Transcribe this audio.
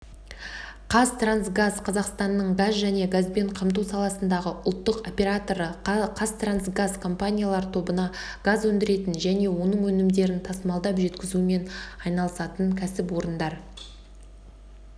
қазтрансгаз қазақстанның газ және газбен қамту саласындағы ұлттық операторы қазтрансгаз компаниялар тобына газ өндіретін және оның өнімдерін тасымалдап жеткізумен айналысатын кәсіпорындар